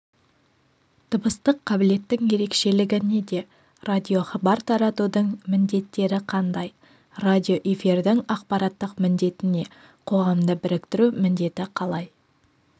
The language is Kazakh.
дыбыстық қабілеттің ерекшелігі неде радиохабар таратудың міндеттері қандай радиоэфирдің ақпараттық міндеті не қоғамды біріктіру міндеті қалай